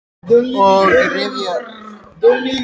og rifja upp góðar stundir með þér.